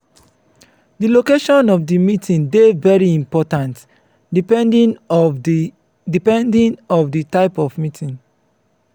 di location of di meeting dey very important depending of di depending of di type of meeting